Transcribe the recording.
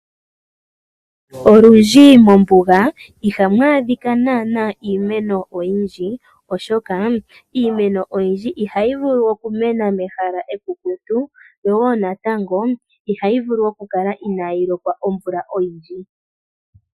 Olundji mombuga ihamu adhika iimeno oyindji oshoka iimeno oyindji ihayi vulu okumena mehala ekukutu yo wo natango ihayi vulu oku kala inaayi lokwa omvula oyindji.